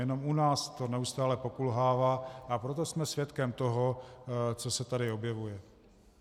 Jenom u nás to neustále pokulhává, a proto jsme svědkem toho, co se tady objevuje.